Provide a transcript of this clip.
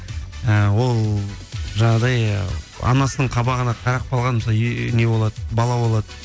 і ол жаңағыдай анасының қабағына қарап қалған мысалы не болады бала болады